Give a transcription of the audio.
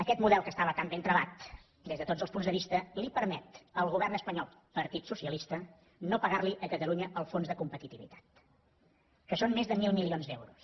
aquest model que estava tan ben travat des de tots els punts de vista li permet al govern espanyol partit socialista no pagar li a catalunya el fons de competitivitat que són més de mil milions d’euros